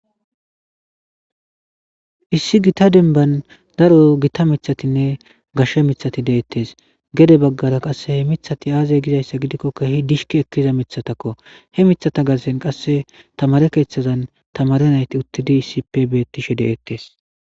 Issi giitta denban daro Gita mithatinne gashe mithati de7ettees. Gedebaggara qasse he mithati aaze gizayssa gidikko keehi dishkkattida mithatakko. He mithata garssen qasse tamaare keethazan tamaare nayti uttidi issippe beettishe de7ettees.